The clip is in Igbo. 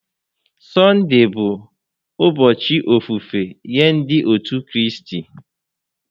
Sọnde bụ ụbọchị ofufe nye ndị otu Kraịst